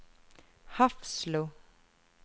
Hafslo